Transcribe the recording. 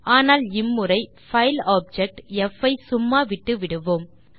ஆனால் இம்முறை file object ப் ஐ சும்மா விட்டுவிடுவோம்